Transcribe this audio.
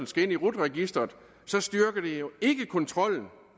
skal ind i rut registeret styrker det jo ikke kontrollen